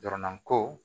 Jɔrɔna ko